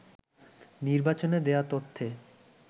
নির্বাচনে দেয়া তথ্যে